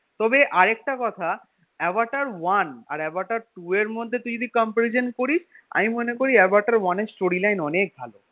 তবে আরেকটা কথা আভাটার one আর আভাটার two এর মধ্যে তুই যদি comparison করিস আমি মনে করি আভাটার one এর storyline অনেক ভালো